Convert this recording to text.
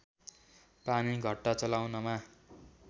पानी घट्टा चलाउनमा